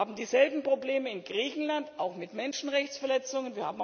Wir haben dieselben Probleme in Griechenland, auch mit Menschenrechtsverletzungen.